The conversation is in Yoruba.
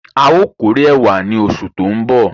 A o kọrè ẹ̀wà ní osù tó nbọ.